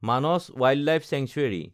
Manas wildlife sanctuary